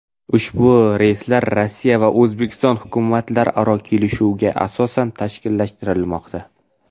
Ushbu reyslar Rossiya va O‘zbekiston hukumatlararo kelishuvga asosan tashkillashtirilmoqda.